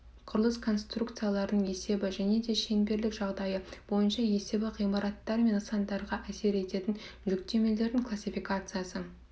құрылыс конструкцияларының есебі және де шеңберлік жағдайы бойынша есебі ғимараттар мен нысандарға әсер ететін жүктемелердің классификациясы